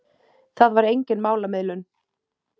Það var engin málamiðlun.